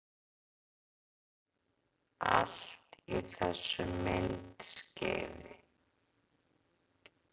Allt í þessu myndskeiði